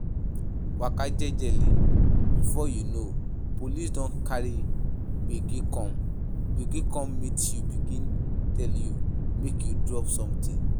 Waka jejely, before you know, police don carry gbege come gbege come meet you begin tell you make you drop something